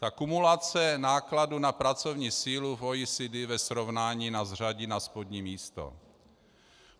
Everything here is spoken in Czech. Ta kumulace nákladů na pracovní sílu v OECD ve srovnání nás řadí na spodní místo.